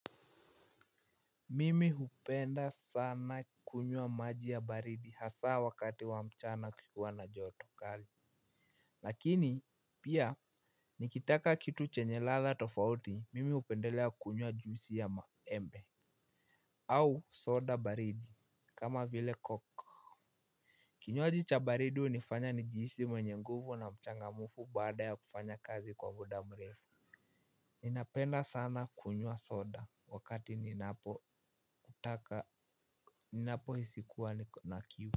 Mimi hupenda sana kunywa maji ya baridi hasa wakati wa mchana kukiwa na joto kali. Lakini pia nikitaka kitu chenye ladha tofauti mimi hupendelea kunyua juisi ya maembe au soda baridi kama vile coke. Kinywaji cha baridi hunifanya ni jihisi mwenye nguvu na mchangamfu baada ya kufanya kazi kwa muda mrefu. Ninapenda sana kunywa soda wakati ninapo taka. Ninapo hisi kuwa niko na kiu.